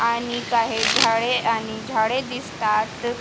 आणि काही झाडे आणि झाडे दिसतात.